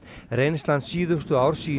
reynslan síðustu ár sýni